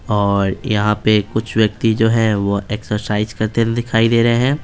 और यहां पे कुछ व्यक्ति जो हैं वह एक्सरसाइज करते दिखाई दे रहे हैं।